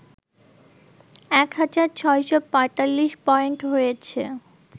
এক হাজার৬৪৫ পয়েন্ট হয়েছে